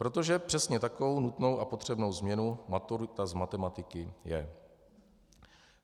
Protože přesně takovou nutnou a potřebnou změnou maturita z matematiky je.